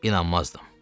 İnanmazdım.